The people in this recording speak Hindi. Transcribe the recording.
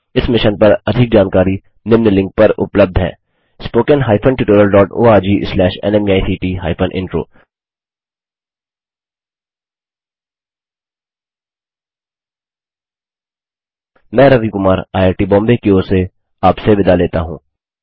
इस मिशन पर अधिक जानकारी निम्न लिंक पर उपलब्ध है spoken hyphen tutorial dot ORG slash नमेक्ट हाइफेन इंट्रो मैं रवि कुमार आईआईटीबॉम्बे की ओर से आपसे विदा लेता हूँ